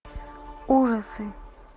ужасы